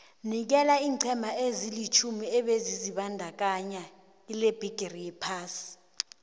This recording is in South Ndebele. nikela iinqhema ezilitjhumi ebezizibandakanye kilebhigiri yephasi